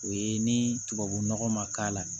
O ye ni tubabunɔgɔ ma k'a la